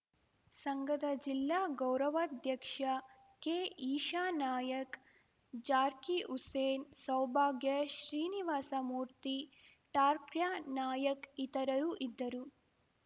ಸಂಘದ ಜಿಲ್ಲಾ ಗೌರವಾಧ್ಯಕ್ಷ ಕೆಈಶಾನಾಯ್ಕ ಜಾಕೀರ್‌ ಹುಸೇನ್‌ ಸೌಭಾಗ್ಯ ಶ್ರೀನಿವಾಸಮೂರ್ತಿ ಠಾಕ್ರ್ಯಾನಾಯ್ಕ ಇತರರು ಇದ್ದರು